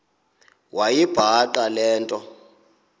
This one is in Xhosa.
wayibhaqa le nto